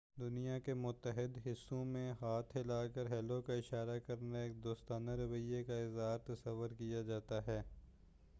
دنیا کے متعدد حصّوں میں، ہاتھ ہلا کر"ہیلو کا اشارہ کرنا، ایک دوستانہ رویہ کا اظہار تصور کیا جاتا ہے۔